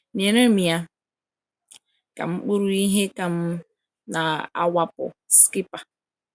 "Nyere m ya," ka m kpuru ihe ka m na-awakpo Skipper.